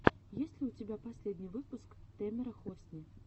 есть ли у тебя последний выпуск тэмера хосни